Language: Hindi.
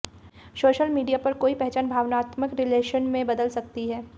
सोशल मीडिया पर कोई पहचान भावनात्मक रिलेशन में बदल सकती है